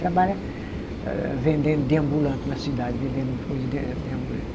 Trabalha vendendo de ambulante na cidade, vendendo coisa de de ambulante.